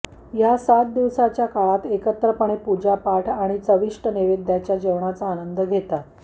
या सात दिवसाच्या काळात एकत्रपणे पूजापाठ आणि चविष्ट नैवेद्याच्या जेवणाचा आनंद घेतात